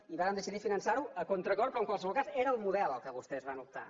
i vàrem decidir finançar ho a contracor però en qualsevol cas era el model per què vostès van optar